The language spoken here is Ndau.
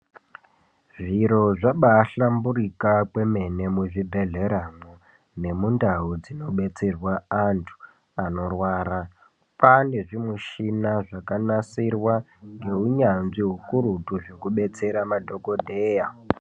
Zviro zvabaahlamburika kwemene muzvibhedhleramwo, nemundau dzinobetserwa antu anorwara. Kwaane zvimushina zvakanasirwa ngeunyanzvi ukurutu, zvekubetsera madhokodheya.